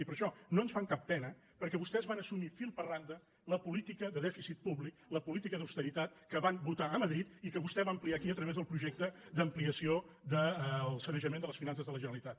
i per això no ens fan cap pena perquè vostès van assumir fil per randa la política de dèficit públic la política d’austeritat que van votar a madrid i que vostè va ampliar aquí a través del projecte d’ampliació del sanejament de les finances de la generalitat